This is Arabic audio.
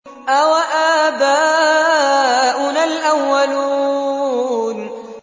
أَوَآبَاؤُنَا الْأَوَّلُونَ